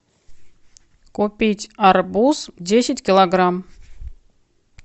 купить арбуз десять килограмм